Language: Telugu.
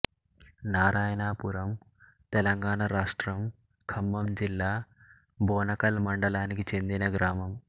నారాయణపురం తెలంగాణ రాష్ట్రం ఖమ్మం జిల్లా బోనకల్ మండలానికి చెందిన గ్రామం